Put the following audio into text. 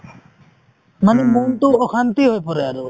মানে মনটো অশান্তি হয় পৰে আৰু